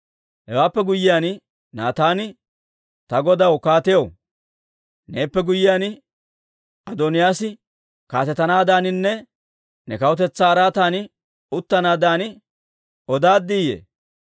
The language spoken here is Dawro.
Hewaappe guyyiyaan Naataani, «Ta godaw kaatiyaw, neeppe guyyiyaan Adooniyaas kaatetanaadaaninne ne kawutetsaa araatan uttanaadan odaaddiiyye?